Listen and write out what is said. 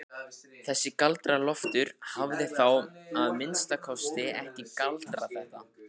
Þessi Galdra-Loftur hafði þá að minnsta kosti ekki galdrað þetta.